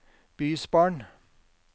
bysbarn